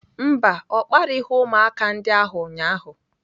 Mba, ọ kparịghị ụmụaka ndị ahụ ụnyaahụ.